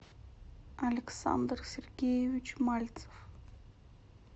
александр сергеевич мальцев